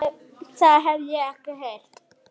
Það hef ég ekki heyrt.